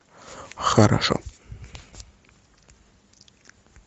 хорошо